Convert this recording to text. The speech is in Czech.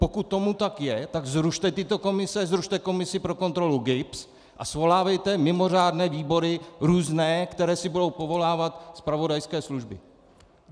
Pokud tomu tak je, tak zrušte tyto komise, zrušte komisi pro kontrolu GIBS a svolávejte mimořádné výbory různé, které si budou povolávat zpravodajské služby.